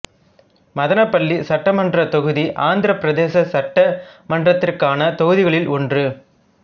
மதனப்பள்ளி சட்டமன்றத் தொகுதி ஆந்திரப் பிரதேச சட்டமன்றத்திற்கான தொகுதிகளில் ஒன்று